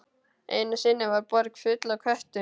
Einu sinni var borg full af köttum.